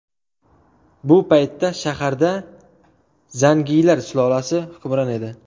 Bu paytda shaharda zangiylar sulolasi hukmron edi.